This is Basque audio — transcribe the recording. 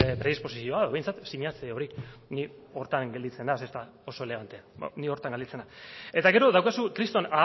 predisposizio bat behintzat sinatze hori ni horretan gelditzen naiz ez da oso elegante ni horretan gelditzen naiz eta gero daukazu kriston